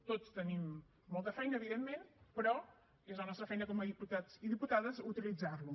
tots tenim molta feina evidentment però és la nostra feina com a diputats i diputades utilitzar lo